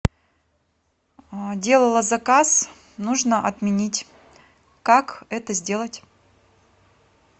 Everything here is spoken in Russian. делала заказ нужно отменить как это сделать